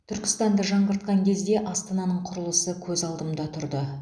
түркістанды жаңғыртқан кезде астананың құрылысы көз алдымда тұрды